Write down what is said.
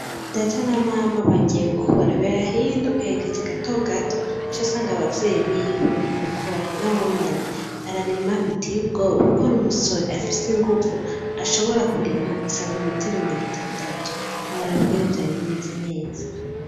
Data na mama baragiye gukora. Berahino aherekeje gatogato acasanga abavyeyi biwe gukora nawenyene ararima biteye ubwoba kuko ari umusore afise inguvu ashobora kurima centimetero mirongo itandatu ntiworaba ingene vyari bimeze neza.